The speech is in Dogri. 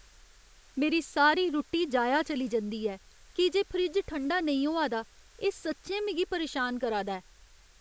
मेरी सारी रुट्टी जाया चली जंदी ऐ की जे फ्रिज ठंडा नेईं होआ दा, एह् सच्चैं मिगी परेशान करा दा ऐ।